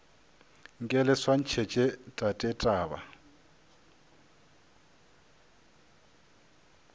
nke le swantšhetše tate taba